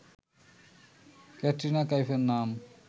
ক্যাটরিনা কাইফের নাম